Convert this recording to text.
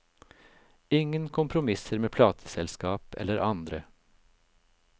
Ingen kompromisser med plateselskap eller andre.